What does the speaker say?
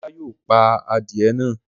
Ọlá yóò pa adìẹ náà!